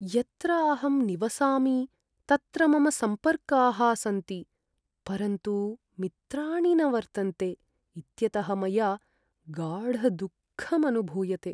यत्र अहं निवसामि तत्र मम सम्पर्काः सन्ति, परन्तु मित्राणि न वर्तन्ते इत्यतः मया गाढदुःखम् अनुभूयते।